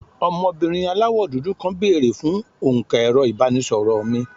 ọmọbìnrin àláwọ dudu kàn bere fún onka ẹrọ ibanisoro mí